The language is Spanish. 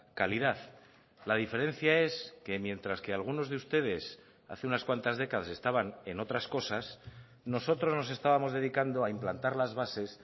calidad la diferencia es que mientras que algunos de ustedes hace unas cuantas décadas estaban en otras cosas nosotros nos estábamos dedicando a implantar las bases